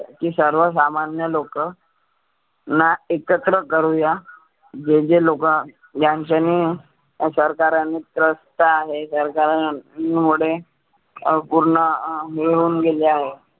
जी सर्व सामान्य लोकं ना एकत्र करुया. जे जे लोकं यांच्यानी सरकारनी Trust आहेत सरकार मुळे अं पुर्ण मिळून गेले आहे.